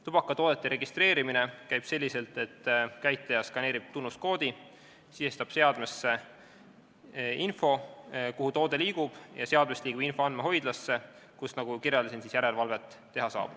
Tubakatoodete registreerimine käib selliselt, et käitleja skaneerib tunnuskoodi ja sisestab seadmesse info, kuhu toode liigub, ning seadmest liigub info andmehoidlasse, kus, nagu kirjeldasin, saab järelevalvet teha.